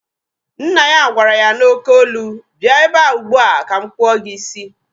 Nna ya gwara ya n'oké olu, bịa ebea ugbua ka m kpụọ gị isi!